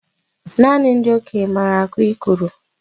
Nanị ndị okenye maara akụ ikoro